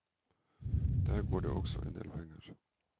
Der går det også en del penger.